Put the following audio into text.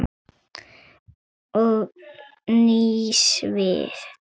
Og nýs vits.